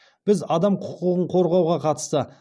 біз адам құқығын қорғауға қатысты